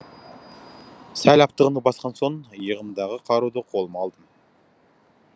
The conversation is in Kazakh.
сәл аптығымды басқан соң иығымдағы қаруды қолыма алдым